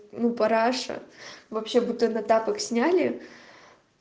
ну параша вообще будто на тапок сняли